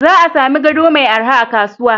Za a sami gado mai araha a kasuwa.